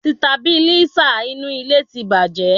Sitabilísà inú ilé ti bàjẹ́